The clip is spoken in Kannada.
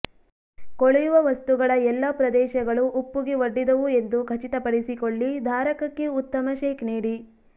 ಕೊಳೆಯುವ ವಸ್ತುಗಳ ಎಲ್ಲಾ ಪ್ರದೇಶಗಳು ಉಪ್ಪುಗೆ ಒಡ್ಡಿದವು ಎಂದು ಖಚಿತಪಡಿಸಿಕೊಳ್ಳಿ ಧಾರಕಕ್ಕೆ ಉತ್ತಮ ಶೇಕ್ ನೀಡಿ